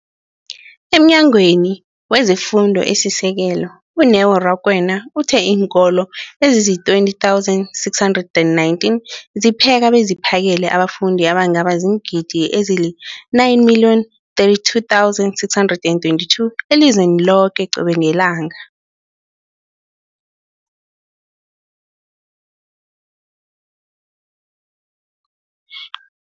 EmNyangweni wezeFundo esiSekelo, u-Neo Rakwena, uthe iinkolo ezizi-20 619 zipheka beziphakele abafundi abangaba ziingidi ezili-9 032 622 elizweni loke qobe ngelanga.